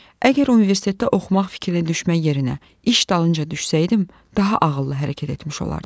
əgər universitetdə oxumaq fikrinə düşmək yerinə iş dalınca gedəydim, daha ağıllı hərəkət etmiş olardım.